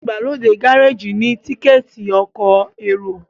igbalode Gáréèjì ni Tíkẹ́ẹ̀tì ọkọ̀ èrò